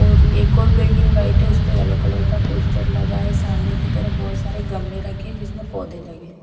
और एक और बिल्डिंग व्हाइट है उसपे येलो कलर का पोस्टर लगा है सामने की तरफ बहोत सारे गमले रखे जिसमें पौधे लगे--